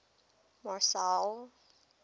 marcel